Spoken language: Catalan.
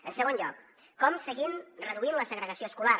en segon lloc com seguim reduint la segregació escolar